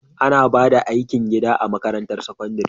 Ana ba da aikin gida a makarantar sakandare